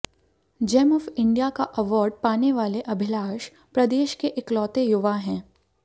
GeM of India का award पाने वाले अभिलाष प्रदेश के एकलौते युवा हैं